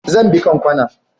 Zan bi kanƙwana.